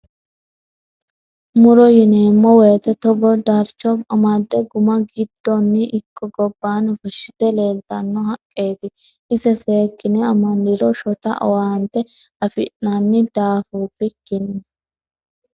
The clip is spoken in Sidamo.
Muro yineemmo woyte togo darcho amade guma giddoni ikko gobbanni fushite laaltano haqqeti ise seekkine amandiro shota owaanet afi'nanni daafurikkinni.